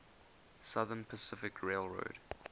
southern pacific railroad